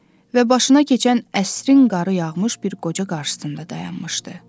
Və başına keçən əsrin qarı yağmış bir qoca qarşısında dayanmışdı.